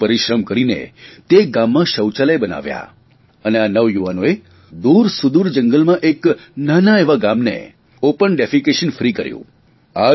જાતે પરિશ્રમ કરીને તે ગામમાં શૌચાલય બનાવ્યાં અને આ નવયુવાનોએ દૂરસુદૂર જંગલમાં એક નાના એવા ગામને ઓપન ડિફીશન ફ્રી કર્યું